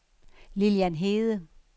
Lilian Hede